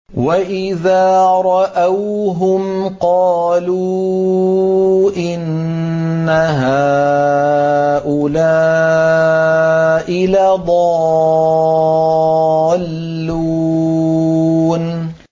وَإِذَا رَأَوْهُمْ قَالُوا إِنَّ هَٰؤُلَاءِ لَضَالُّونَ